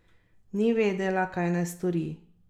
Ni vedela, kaj naj stori.